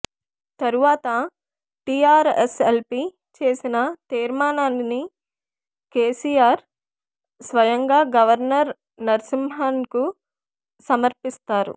తర్వాత టీఆర్ఎస్ఎల్పీ చేసిన తీర్మానాన్ని కేసీఆర్ స్వయంగా గవర్నర్ నరసింహన్కు సమర్పిస్తారు